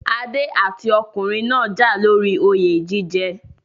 Adé àti ọkùnrin náà jà lóri oyè jíjẹ